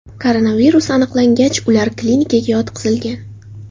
Koronavirus aniqlangach, ular klinikaga yotqizilgan.